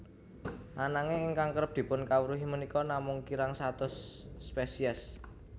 Ananging ingkang kerep dipunkawruhi punika namung kirang saking satus spesies